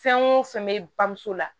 Fɛn o fɛn bɛ bamuso la